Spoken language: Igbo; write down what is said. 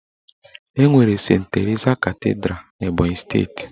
Enwere Sent Terisa Katidra n'Ebọnyị steeti.